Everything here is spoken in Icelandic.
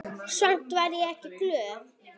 Samt var ég ekki glöð.